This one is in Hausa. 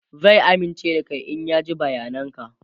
zai amince da Kai in ya ji bayanan ka